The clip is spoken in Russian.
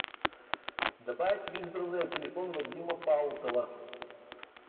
добавить в избранное телефон вадима паутова